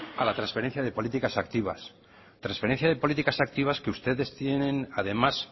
a la transferencia de políticas activas transferencia de políticas activas que ustedes tienen además